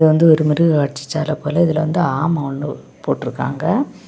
இது வந்து ஒரு மிருககாட்சி சால போல இதுல வந்து ஆம ஒன்னு போட்ருக்காங்க.